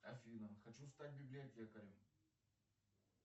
афина хочу стать библиотекарем